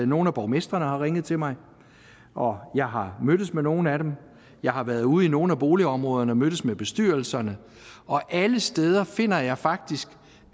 nogle af borgmestrene har ringet til mig og jeg har mødtes med nogle af dem jeg har været ude i nogle af boligområderne og mødtes med bestyrelserne og alle steder finder jeg faktisk